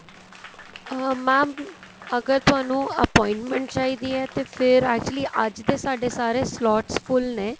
ਅਹ mam ਅਗਰ ਤੁਹਾਨੂੰ appointment ਚਾਹੀਦੀ ਏ ਤੇ ਫੇਰ actually ਅੱਜ ਦੇ ਸਾਡੇ ਸਾਰੇ slots full ਨੇ